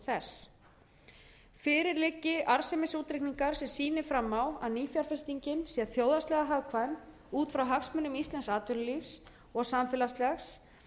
þess fyrir liggi arðsemisútreikningar sem sýni fram á að nýfjárfestingin sé þjóðhagslega hagkvæm út frá hagsmunum íslensks atvinnulífs og samfélagslegs